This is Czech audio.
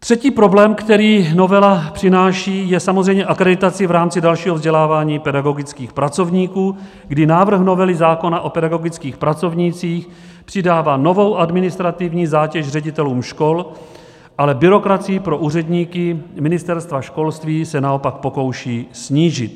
Třetí problém, který novela přináší, je samozřejmě akreditace v rámci dalšího vzdělávání pedagogických pracovníků, kdy návrh novely zákona o pedagogických pracovnících přidává novou administrativní zátěž ředitelům škol, ale byrokracii pro úředníky Ministerstva školství se naopak pokouší snížit.